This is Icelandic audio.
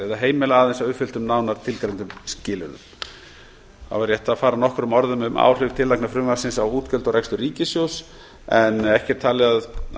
heimila aðeins að uppfylltum nánar tilgreindum skilyrðum þá er rétt að fara nokkrum orðum um áhrif tillagna frumvarpsins á útgjöld og tekjur ríkissjóðs frumvarp þetta hefur